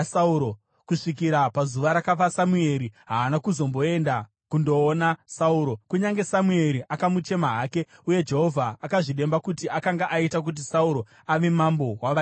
Kusvikira pazuva rakafa Samueri, haana kuzomboenda kundoona Sauro, kunyange Samueri akamuchema hake. Uye Jehovha akazvidemba kuti akanga aita kuti Sauro ave mambo wavaIsraeri.